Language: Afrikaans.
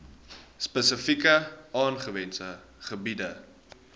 spesifiek aangewese gebiede